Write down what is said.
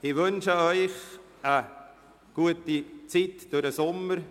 Ich wünsche Ihnen eine gute Sommerzeit.